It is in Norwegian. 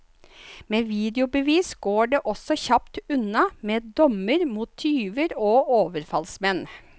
Med videobevis går det også kjapt unna med dommer mot tyver og overfallsmenn.